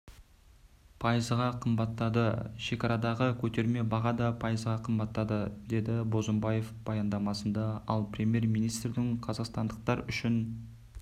пайызға қымбатттады шекарадағы көтерме баға да пайызға қымбаттады деді бозымбаев баяндамасында ал премьер-министрдің қазақстандықтар үшін